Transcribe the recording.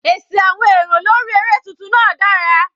Èsì àwọn èrò lórí eré tuntun náà dára.